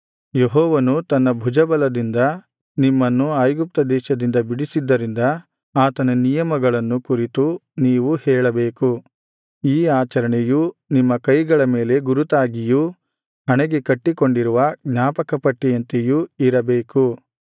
ಯೆಹೋವನು ತನ್ನ ಭುಜಬಲದಿಂದ ನಿಮ್ಮನ್ನು ಐಗುಪ್ತ ದೇಶದಿಂದ ಬಿಡಿಸಿದ್ದರಿಂದ ಆತನ ನಿಯಮವನ್ನು ಕುರಿತು ನೀವು ಹೇಳಬೇಕು ಈ ಆಚರಣೆಯು ನಿಮ್ಮ ಕೈಗಳ ಮೇಲೆ ಗುರುತಾಗಿಯೂ ಹಣೆಗೆ ಕಟ್ಟಿಕೊಂಡಿರುವ ಜ್ಞಾಪಕಪಟ್ಟಿಯಂತೆಯೂ ಇರಬೇಕು